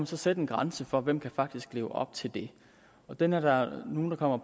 så sætte en grænse for hvem der faktisk kan leve op til det og den er der nogle der kommer